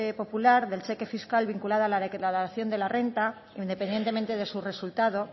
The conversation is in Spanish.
popular del cheque fiscal vinculado a la declaración de la renta independientemente de su resultado